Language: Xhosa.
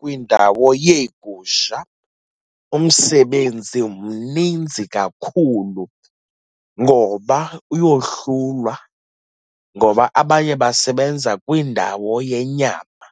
kwindawo yeegusha umsebenzi mninzi kakhulu, ngoba uyohlulwa, ngoba abanye basebenza kwindawo yenyama,